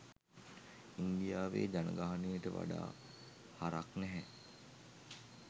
ඉන්දියාවේ ජනගහනයට වඩා හරක් නැහැ.